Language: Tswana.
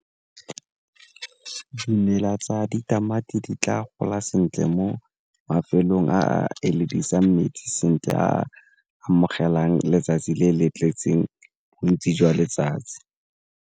Dimela tsa ditamati di tla gola sentle mo mafelong a a metsi sentle a amogelang letsatsi le le tletseng bontsi jwa letsatsi.